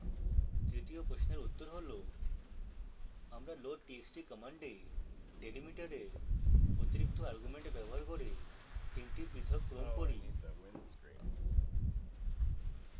তৃতীয় প্রশ্নের উত্তর হল আমরা loadtxt কমান্ডে delimiter এর অতিরিক্ত আর্গুমেন্ট ব্যবহার করে তিনটি পৃথক ক্রম পড়ি